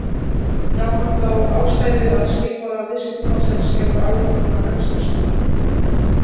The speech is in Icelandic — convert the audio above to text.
Gaf hann þá ástæðu að skilmálar viðskiptabannsins gerðu áætlunina gagnslausa.